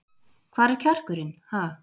Hvar er kjarkurinn, ha?